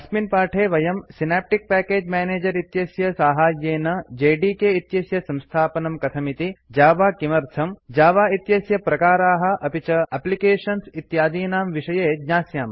अस्मिन् पाठे वयम् सिनाप्टिक प्याकेज् मेनेजर इत्यस्य साहाय्येन जेडीके इत्यस्य संस्थापनं कथमिति जावा किमर्थम् जावा इत्यस्य प्रकाराः अपि च एप्लिकेशन् इत्यादीनां विषये ज्ञास्यामः